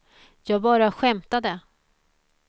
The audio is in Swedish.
jag bara skämtade